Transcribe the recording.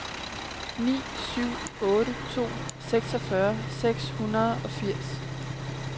ni syv otte to seksogfyrre seks hundrede og firs